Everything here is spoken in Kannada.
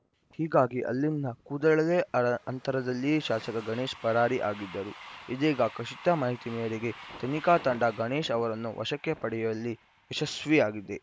ಹೀಗಾಗಿ ಅಲ್ಲಿಂದ ಕೂದಲೆಳೆ ಅಂತರದಲ್ಲಿಯೇ ಶಾಸಕ ಗಣೇಶ್‌ ಪರಾರಿ ಆಗಿದ್ದರು ಇದೀಗ ಖಚಿತ ಮಾಹಿತಿ ಮೇರೆಗೆ ತನಿಖಾ ತಂಡ ಗಣೇಶ್‌ ಅವರನ್ನು ವಶಕ್ಕೆ ಪಡೆಯುವಲ್ಲಿ ಯಶಸ್ವಿಯಾಗಿದೆ